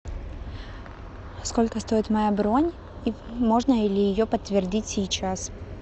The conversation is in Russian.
сколько стоит моя бронь и можно ли ее подтвердить сейчас